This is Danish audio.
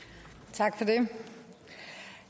tak